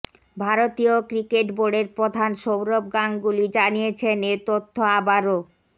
ভারতীয় ক্রিকেট বোর্ডের প্রধান সৌরভ গাঙ্গুলী জানিয়েছেন এ তথ্য আবারও